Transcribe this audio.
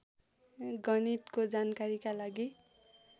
गणितको जानकारीका लागि